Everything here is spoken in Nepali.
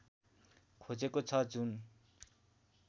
खोजेको छ जुन